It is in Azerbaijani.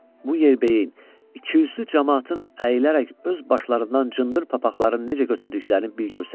Bu yerbəyin ikiüzlü camaatın əyilərək öz başlarından cındır papaqlarını necə götürdüklərini bir görsəydiniz!